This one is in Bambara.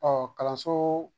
Ɔ kalanso